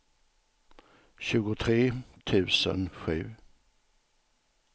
tjugotre tusen sju